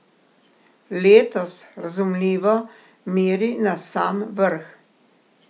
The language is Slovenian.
Letos, razumljivo, meri na sam vrh.